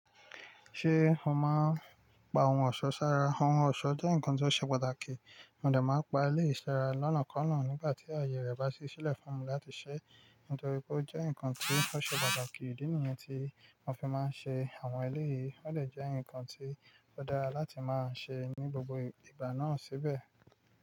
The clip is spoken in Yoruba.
Ṣé o máa ń pa ohun ọ̀ṣọ́ ṣára? Ohun ọ̀ṣọ́ jẹ́ nǹkan ti ó ṣe pàtàkì, mo dà máa ń pa eléyìí sara lọ́ná kọ́nà nígbà tí ààye rẹ̀ bá sí sílẹ̀ fún mi láti ṣẹ́ nítorí pé ó jẹ́ nǹkan tó ṣe pàtàkì. Ìdí nìyẹn tí mo fi máa ń ṣe àwọn eleyìí. Ó dẹ̀ jẹ́ nǹkan tí ó dára láti máa ṣe ní gbogbo ìgbà náà síbẹ̀.